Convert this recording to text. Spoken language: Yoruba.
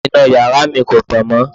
Iná yàrá mi kò tàn mọ́.